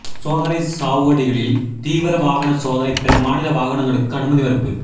சோதனை சாவடிகளில் தீவிர வாகன சோதனை பிற மாநில வாகனங்களுக்கு அனுமதி மறுப்பு